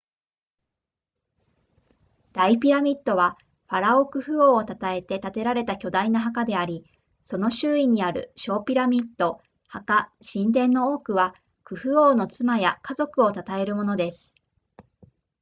大ピラミッドはファラオクフ王を称えて建てられた巨大な墓でありその周囲にある小ピラミッド墓神殿の多くはクフ王の妻や家族を称えるものです